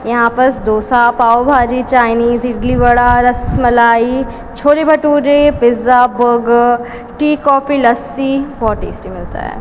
यहां बस dosa pav bhaji Chinese idli vada rasmalai chole bhature pizza burger tea coffee lassi बहोत टेस्टी मिलता है।